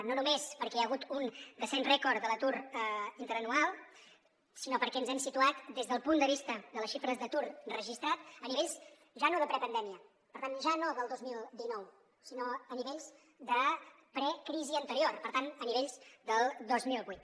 no només perquè hi ha hagut un descens rècord de l’atur interanual sinó perquè ens hem situat des del punt de vista de les xifres d’atur registrat a nivells ja no de prepandèmia per tant ja no del dos mil dinou sinó a nivells de precrisi anterior per tant a nivells del dos mil vuit